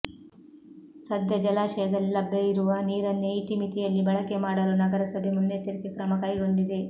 ಸದ್ಯ ಜಲಾಶಯದಲ್ಲಿ ಲಭ್ಯ ಇರುವ ನೀರನ್ನೇ ಇತಿಮಿತಿಯಲ್ಲಿ ಬಳಕೆ ಮಾಡಲು ನಗರಸಭೆ ಮುನ್ನೆಚ್ಚರಿಕೆ ಕ್ರಮ ಕೈಗೊಂಡಿದೆ